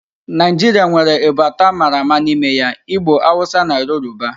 Naijiria nwere ebo ato a mara ama n'ime ya; Igbo, Hausa na Yoruba